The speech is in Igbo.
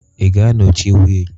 Ị ga-anọchi wheel?